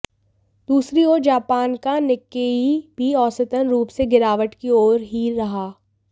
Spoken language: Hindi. दूसरी ओर जापान का निक्केई भी औसतन रूप से गिरावट की ओर ही रहा